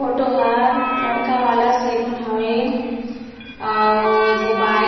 photo हार लड़का वाला सेलून हावे और एगो बाइक --